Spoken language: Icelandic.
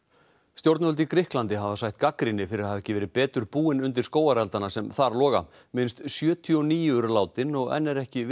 stjórnvöld í Grikklandi hafa sætt gagnrýni fyrir að hafa ekki verið betur búin undir skógareldana sem þar loga minnst sjötíu og níu eru látin og enn er ekki